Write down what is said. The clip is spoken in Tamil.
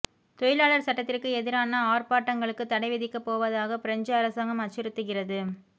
தொழிலாளர் சட்டத்திற்கு எதிரான ஆர்ப்பாட்டங்களுக்கு தடை விதிக்கப்போவதாக பிரெஞ்சு அரசாங்கம் அச்சுறுத்துகிறது